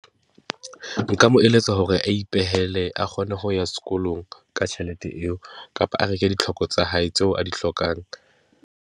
Nka mo eletsa hore a ipehele a kgone ho ya sekolong ka tjhelete eo, kapo a reke ditlhoko tsa hae tseo a di hlokang.